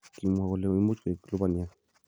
Kimwa kole imuch koik lubaniat.